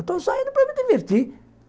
Estou saindo para me divertir.